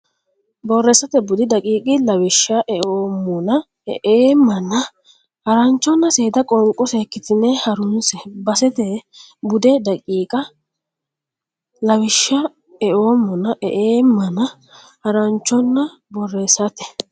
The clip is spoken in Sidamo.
Borreessate Bude daqiiqa lawishsha eemmona eemmana Haranchonna Seeda Qoonqo seekkitine ha runse Borreessate Bude daqiiqa lawishsha eemmona eemmana Haranchonna Borreessate.